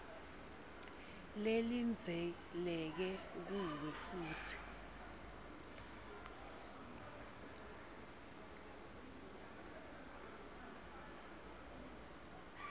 lelindzeleke kuwe futsi